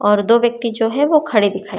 और दो व्यक्ति जो है वह खड़े दिखाई--